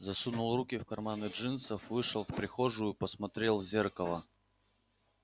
засунул руки в карманы джинсов вышел в прихожую посмотрел в зеркало